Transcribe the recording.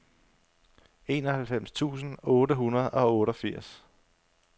enoghalvfems tusind otte hundrede og otteogfirs